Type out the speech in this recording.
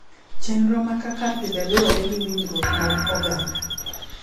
Chenro ma kaka pile lowore gi winjruok mag oganda.